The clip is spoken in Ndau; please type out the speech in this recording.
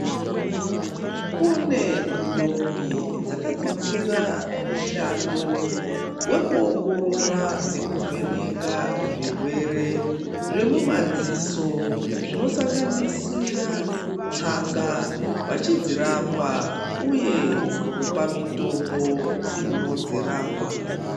Kune ndombi dzakadzidzira mushando wekuongorora nekuvheneka zvirwere zvemumadziso zvinosanganisira tsanga veidzirapa uye kupa mitombo inodzirapa.